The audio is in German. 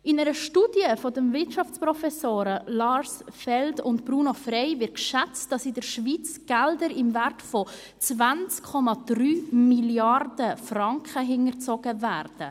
In einer Studie der Wirtschaftsprofessoren Lars P. Feld und Bruno S. Frey wird geschätzt, dass in der Schweiz Gelder im Wert von 20,3 Mrd. Franken hinterzogen werden.